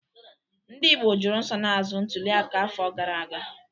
Ndị Igbo jụrụ nsonaazụ ntuliaka afọ gara aga.